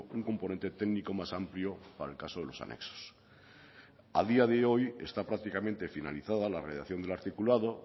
un componente técnico más amplio para el caso de los anexos a día de hoy está prácticamente finalizada la redacción del articulado